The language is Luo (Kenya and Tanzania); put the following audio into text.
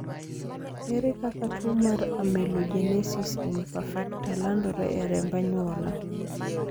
ere kaka tuo mar amelogenesis imperfecta landore e remb anyuola?